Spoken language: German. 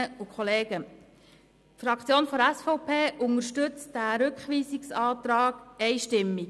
Die SVP-Fraktion unterstützt diesen Rückweisungsantrag einstimmig.